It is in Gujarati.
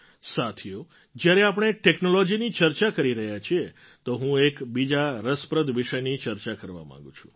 સાથીઓ જ્યારે આપણે ટૅક્નૉલૉજીની ચર્ચા કરી રહ્યા છીએ તો હું એક બીજા રસપ્રદ વિષયની ચર્ચા કરવા માગું છું